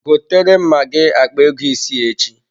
Gotere m magi akpa ego isi echi.